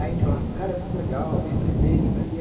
Aí a gente falava, cara, é muito legal, vem aprender, vem aprender.